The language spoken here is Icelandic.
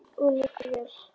Og njóttu vel.